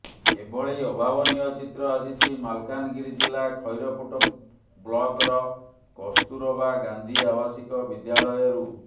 ଏଭଳି ଅଭାବନୀୟ ଚିତ୍ର ଆସିଛି ମାଲକାନଗିରି ଜିଲ୍ଲା ଖଇରପୁଟ ବ୍ଲକର କସ୍ତୁରବା ଗାନ୍ଧୀ ଆବାସିକ ବିଦ୍ୟାଳୟରୁ